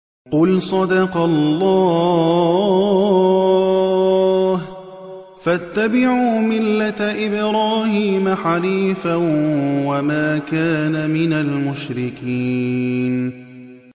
قُلْ صَدَقَ اللَّهُ ۗ فَاتَّبِعُوا مِلَّةَ إِبْرَاهِيمَ حَنِيفًا وَمَا كَانَ مِنَ الْمُشْرِكِينَ